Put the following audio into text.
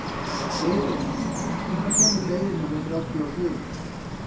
Geiri, hvenær kemur leið númer þrjátíu og fjögur?